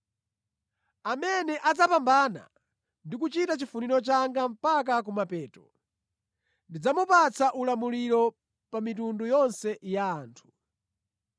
Amene adzapambana ndi kuchita chifuniro changa mpaka kumapeto, ndidzamupatsa ulamuliro pa mitundu yonse ya anthu.